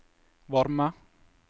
varme